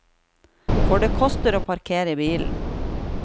For det koster å parkere bilen.